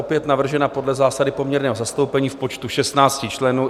Opět navržena podle zásady poměrného zastoupení v počtu 16 členů.